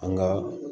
An ka